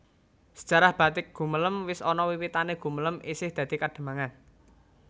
Sejarah batik Gumelem wis ana wiwitanè Gumelem isih dadi Kademangan